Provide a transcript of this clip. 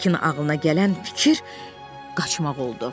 Hekin ağılına gələn fikir qaçmaq oldu.